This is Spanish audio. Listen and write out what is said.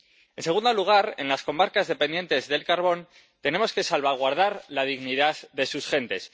En segundo lugar, en las comarcas dependientes del carbón, tenemos que salvaguardar la dignidad de sus gentes.